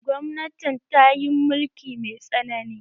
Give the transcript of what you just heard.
Gwamnatin ta yi mulki mai tsanani